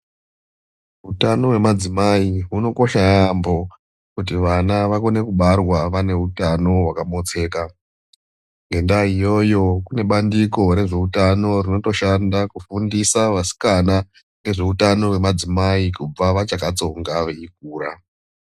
Utano hwemadzimai hunokosha yaampo kuti vana vakone kubarwa vane utano hwakamotseka ngendaa iyoyo kune bandiko rezveutano rinotoshanda kufundisa vasikana ngezveutano hwemadzimai kubva vachakatsonga veikura.